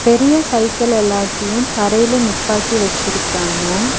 பெரிய சைக்கிள் எல்லாத்தையு தரையில நிப்பாட்டி வெச்சிருக்காங்க.